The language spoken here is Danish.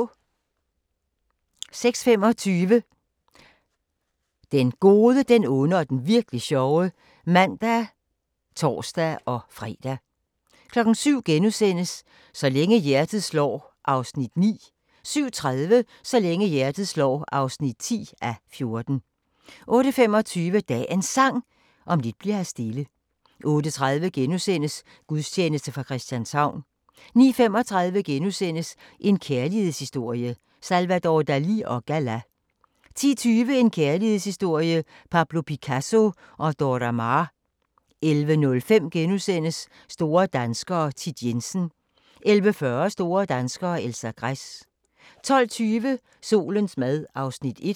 06:25: Den gode, den onde og den virk'li sjove (man og tor-fre) 07:00: Så længe hjertet slår (9:14)* 07:30: Så længe hjertet slår (10:14) 08:25: Dagens Sang: Om lidt bli'r her stille 08:30: Gudstjeneste fra Christianshavn * 09:35: En kærlighedshistorie – Salvador Dalì & Gala * 10:20: En kærlighedshistorie – Pablo Picasso & Dora Maar 11:05: Store danskere - Thit Jensen * 11:40: Store danskere - Elsa Gress 12:20: Solens mad (Afs. 1)